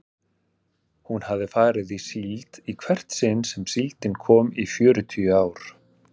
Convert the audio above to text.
Hún hafði farið í síld í hvert sinn sem síldin kom í fjörutíu ár.